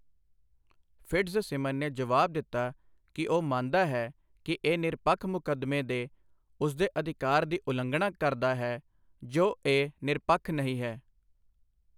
Fitzsimon ਨੇ ਜਵਾਬ ਦਿੱਤਾ ਕਿ ਉਹ ਮੰਨਦਾ ਹੈ ਕਿ ਇਹ ਨਿਰਪੱਖ ਮੁਕੱਦਮੇ ਦੇ ਉਸਦੇ ਅਧਿਕਾਰ ਦੀ ਉਲੰਘਣਾ ਕਰਦਾ ਹੈ ਜੋ ਇਹ ਨਿਰਪੱਖ ਨਹੀਂ ਹੈ।